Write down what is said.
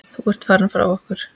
Þú ert farinn frá okkur.